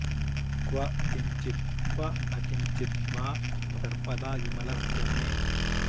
क्व किंचित् क्व न किंचिद् वा सर्वदा विमलस्य मे